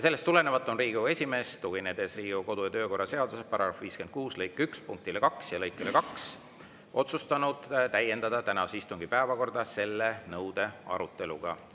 Sellest tulenevalt on Riigikogu esimees, tuginedes Riigikogu kodu- ja töökorra seaduse § 56 lõike 1 punktile 2 ja lõikele 2, otsustanud täiendada tänase istungi päevakorda selle nõude aruteluga.